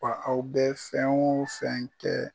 Wa aw bɛ fɛn o fɛn kɛ.